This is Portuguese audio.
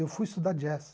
Eu fui estudar jazz.